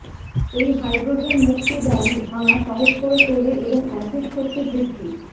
এই হাইড্রোজেন মুক্তি বন্ড ভাঙ্গা সহজ করে তোলে এবং অ্যাসিড শক্তি বৃদ্ধি